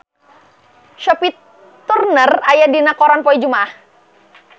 Sophie Turner aya dina koran poe Jumaah